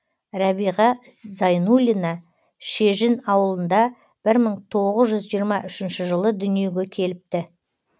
рәбиға зайнуллина шежін ауылында бір мың тоғыз жүз жиырма үшінші жылы дүниеге келіпті